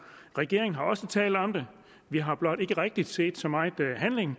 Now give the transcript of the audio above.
regeringen har også talt om det vi har blot ikke rigtig set så meget handling